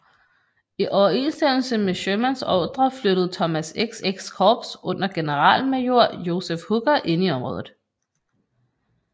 I overensstemmelse med Shermans ordrer flyttede Thomas XX Korps under generalmajor Joseph Hooker ind i området